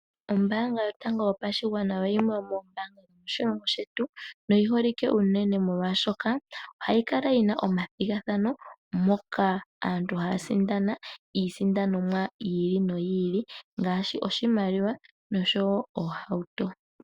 Ombaanga yotango yopashigwana oyo yimwe yomoombanga moshilongo shetu no yiholike unene molwaashoka ,ohayi kala yina omathigathano moka aantu haya sindana iisandonomwa yi ili noyi ili ngaashi oshimaliwa noshowo ohauto.